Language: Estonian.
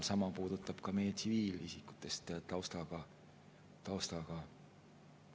Sama puudutab ka meie tsiviilisiku taustaga.